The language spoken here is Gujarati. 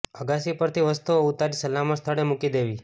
અગાશી પરથી વસ્તુઓ ઉતારી સલામત સ્થળે મુકી દેવી